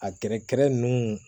A gɛrɛgɛrɛ ninnu